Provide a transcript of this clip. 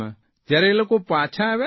જયારે એ લોકો પાછા આવ્યા ને